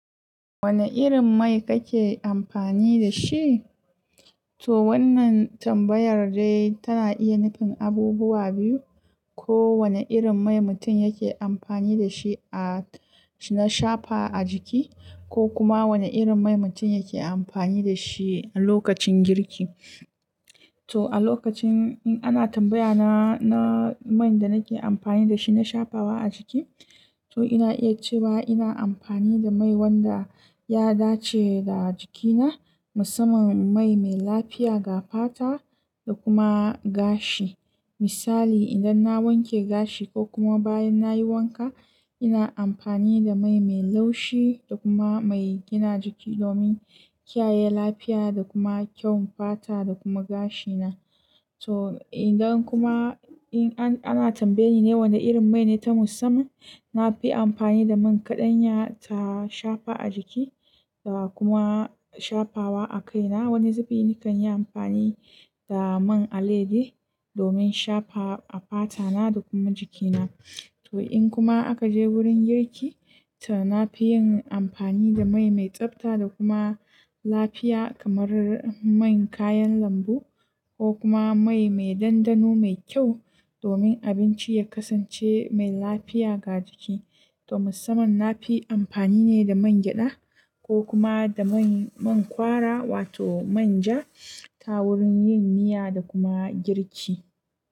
Wane irin mai kake amfani da shi? To wannan tambayar dai tana iya nufin abubuwa biyu, ko wane irin mai mutum yake amfani da shi a, na shafa a jiki ko kuma wane irin mai mutum yake amfani da shi a lokacin girki. To a lokacin in ana tambaya na, na mai da nake amfani da shi na shafawa a jiki, to ina iya cewa ina amfani da mai wanda ya dace da jikina musamman mai mai lafiya ga fata da kuma gashi. Misali idan na wanke gashi ko kuma bayan nayi wanka ina amfani da mai mai laushi da kuma mai gina jiki domin kiyaye lafiya da kuma kyau fata da kuma gashina. To idan kuma in an, ana tambaye ni wana irin mai ne ta musamman, nafi amfani da man kaɗanya ta shafa a jiki da kuma shafawa a kaina. Wani zufi nakan yi amfani da man alaiyadi domin shafa a fatana da kuma jikina. To in kuma aka je wurin girki, to nafiyin amfani da mai mai tsabta da kuma lafiya kamar man kayan lambu ko kuma mai mai ɗanɗano mai kyau domin abinci ya kasance mai lafiya ga jiki. To musamman nafi amfani ne da man gyada ko kuma da man, man kwara wato manja ta wurin yin miya da kuma girki.